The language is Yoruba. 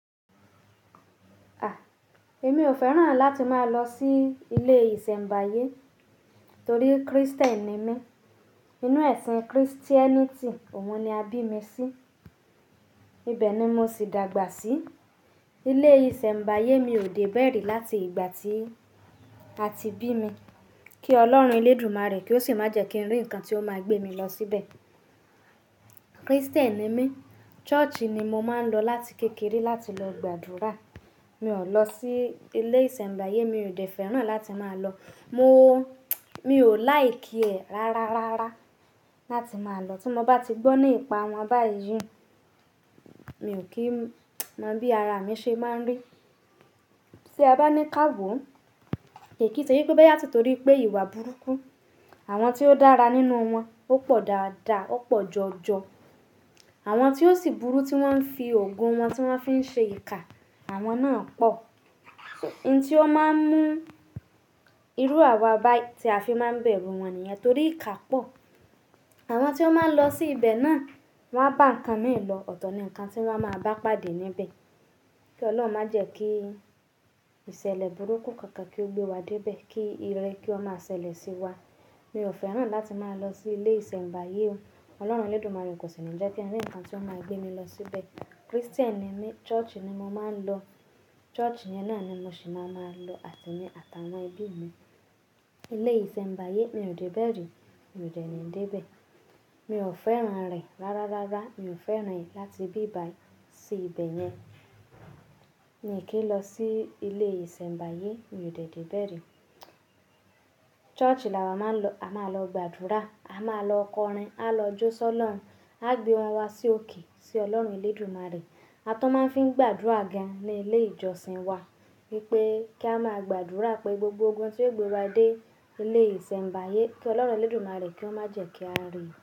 A! Èmi ò fẹ́ràn láti máa lọ sí ilé ìsẹ̀mbáyé torí Krístẹ́nì ni mí. Inú ẹ̀sìn Kìrìtẹ́nìtì òun ni a bí mi sí. Ibẹ̀ ni mo sì dàgbà sí. Ilé ìsẹ̀mbáyé mi ò dé bẹ̀eri láti ìgbà tí a ti bí mi. Kí Ọlọ́run elédùmarè kí ó sì má jẹ́ kí n rí ǹkan tí ó máa gbé mi lọ síbẹ̀. Krístẹ́nì ni mí, ṣọ́ọ̀ṣì ni mo máa ń lọ láti kékeré láti lọ gbàdúrà. Mi ò lọ sí ilé ìsẹ̀mbáyé, mi ò dé fẹ́ràn láti máa lọ. Mo, mi ò like ẹ̀ rárárárá láti máa lọ. Tí mo bá ti gbọ́ nípa wọn báyìí, mi ò kí mọ bí ara mi ṣe máa ń rí. Tí a bá ní káàwọ̀, kì í ṣe pé kó bá yà ti torí pé ìwà burúkú. Àwọn tí ó dára nínú wọn ó pọ̀ dáadáa, ó pọ̀ jọjọ. Àwọn tí ó sì burú tí wọ́n fi ògùn wọn tí wọ́n fi ń ṣe ìkà, àwọn náà pọ̀. Ohun tí ó máa ń mú irú àwa báyìí tí a fi máa ń bẹ̀rú wọn nìyẹn torí ìkà pọ̀. Àwọn tí ó máa ń lọ sí ibẹ̀ náà wọ́n á bá ǹkan mii lo ọ̀tọ̀ ni ǹkan tí wọ́n máa bá pàdé níbẹ̀. Kí Ọlọ́run má jẹ́ kí ìṣẹ̀lẹ̀ burúkú kankan kí ó gbé wa dé ibẹ̀. Kí ire kí ó máa ṣẹlẹ̀ sí wa. Mi ò fẹ́ràn láti máa lọ sí ilé ìsẹ̀mbáyé. Ọlọ́run elédùmarè kò sì ni jẹ́ kí ri ǹkan tí ó máa gbé mi lọ síbẹ̀. Krístẹ́nì ni mí, ṣọ́ọ̀ṣì ni mo máa ń lọ. Ṣọ́ọ̀ṣì yẹn náà ni mo sì máa ń lọ àti ní àtàwọn ẹbí mi. Ilé ìsẹ̀mbáyé mi ò dé bẹ̀ri, mi ò dé ní dé ibẹ̀. Mi ò fẹ́ràn rẹ̀ rárárárá, mi ò fẹ́ràn rẹ̀ láti bí ìbá sí ibẹ̀ yẹn. Mí è kí ń lọ sí ilé ìsẹ̀mbáyé, mi ò dé dé bẹ̀ri. Ṣọ́ọ̀ṣì là wá máa ń lọ, a máa lọ gbàdúrà, a máa lọ kọrin, á lọ jó sọ lọ́run, a gbé wọn wá sí òkè, sí Ọlọ́run elédùmarè. A tọ máa ń fi ń gbàdúrà ga ní ilé ìjọsìn wa wípé kí a máa gbàdúrà pé gbogbo ogun tí yóò gbé wa dé ilé ìsẹ̀mbáyé, kí Ọlọ́run elédùmarè kí ó má jẹ́ kí á rí.